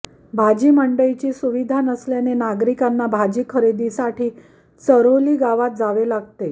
भाजी मंडईची सुविधा नसल्याने नागरिकांना भाजी खरेदीसाठी चऱ्होली गावात जावे लागते